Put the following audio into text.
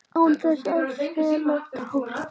Án þess að fella tár.